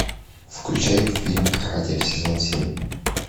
включай фильм каратель сезон семь